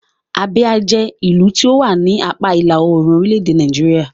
Abia jẹ́ ìlú tí ó wà ní apá ìlà-oòrùn orílẹ̀-èdè Nàìjíríà.